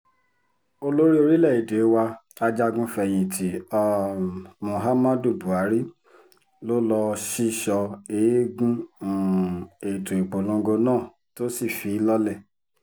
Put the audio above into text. olórí orílẹ̀‐èdè wa ajagun-fẹ̀yìntì um muhammadu buhari ló lọ́ọ́ sísọ eegun um ètò ìpolongo náà tó sì fi í lọ́lẹ̀